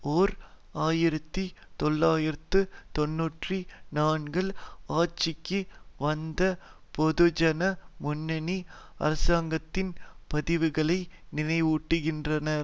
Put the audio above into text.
ஓர் ஆயிரத்தி தொள்ளாயிரத்து தொன்னூற்றி நான்கில் ஆட்சிக்கு வந்த பொதுஜன முன்னணி அரசாங்கத்தின் பதிவுகளை நினைவூட்டுகின்றனர்